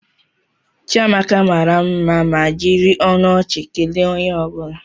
Chiamaka mara mma ma jiri ọnụ ọchị kelee onye ọ bụla.